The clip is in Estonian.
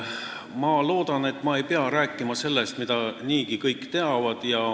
Ma loodan, et ma ei pea rääkima sellest, mida kõik niigi teavad.